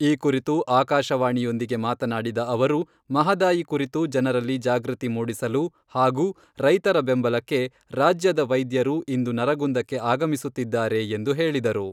ಈ ಕುರಿತು ಆಕಾಶವಾಣಿಯೊಂದಿಗೆ ಮಾತನಾಡಿದ ಅವರು, ಮಹದಾಯಿ ಕುರಿತು ಜನರಲ್ಲಿ ಜಾಗೃತಿ ಮೂಡಿಸಲು, ಹಾಗೂ ರೈತರ ಬೆಂಬಲಕ್ಕೆ ರಾಜ್ಯದ ವೈದ್ಯರು ಇಂದು ನರಗುಂದಕ್ಕೆ ಆಗಮಿಸುತ್ತಿದ್ದಾರೆ ಎಂದು ಹೇಳಿದರು.